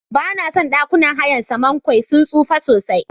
Banason ɗakunan hayan Samankwe sun tsufa sosai.